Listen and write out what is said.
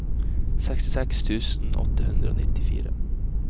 sekstiseks tusen åtte hundre og nittifire